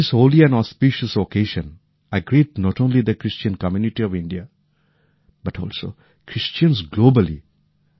এই পবিত্র ও পুণ্য তিথিতে আমি শুধুমাত্র ভারতেরই নয় সাড়া বিশ্বের খ্রীশ্চান ভাই বোনেদের শুভেচ্ছা জানাই